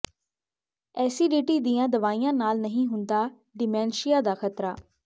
acidity ਦੀਆਂ ਦਵਾਈਆਂ ਨਾਲ ਨਹੀਂ ਹੁੰਦਾ ਡਿਮੈਂਸ਼ੀਆ ਦਾ ਖ਼ਤਰਾ